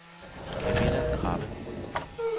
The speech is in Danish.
Kamilla Krabbe